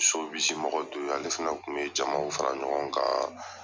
mɔgɔ dɔ ye, ale fana tun be jamaw fara ɲɔgɔn kan